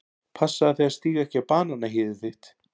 Passaðu þig að stíga ekki á bananahýðið þitt.